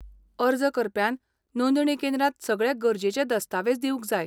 अर्ज करप्यान नोंदणी केंद्रांत सगळे गरजेचे दस्तावेज दिवंक जाय.